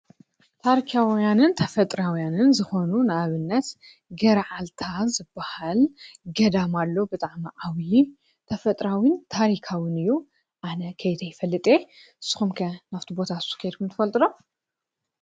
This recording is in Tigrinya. ታርካያውያንን ተፈጥራውያንን ዝኾኑ ናኣብነት ገረዓልታ ዘበሃል ገዳማኣሎ ብጣዕመ ዓውዪ ተፈጥራዊን ታሪካውን እዩ ኣነ ከይተ ኣይፈልጠ ስኾምከ ናፍቲ ቦታ ሱከየልኩም ትፈልጥሎም?